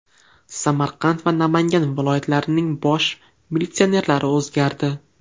Samarqand va Namangan viloyatlarining bosh militsionerlari o‘zgardi.